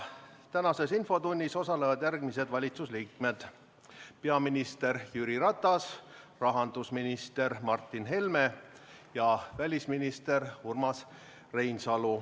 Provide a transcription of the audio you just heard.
Tänases infotunnis osalevad järgmised valitsuse liikmed: peaminister Jüri Ratas, rahandusminister Martin Helme ja välisminister Urmas Reinsalu.